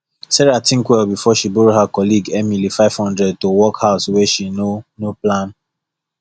sarah think well before she borrow her colleague emily 500 to work house wey she no no plan